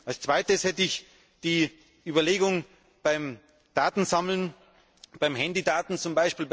Als Zweites hätte ich die Überlegung, beim Datensammeln, bei Handydaten